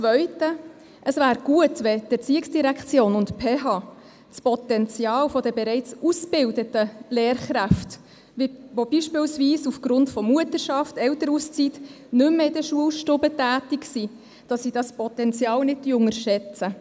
Zweitens: Es wäre gut, die ERZ und die PH würden das Potenzial der bereits ausgebildeten Lehrkräfte, die beispielsweise aufgrund von Mutterschaft oder Elternauszeit nicht mehr in der Schulstube tätig sind, nicht unterschätzen.